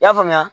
I y'a faamuya